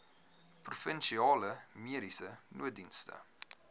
provinsiale mediese nooddienste